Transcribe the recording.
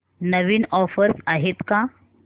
नवीन offers आहेत का